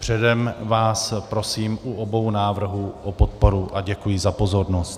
Předem vás prosím u obou návrhů o podporu a děkuji za pozornost.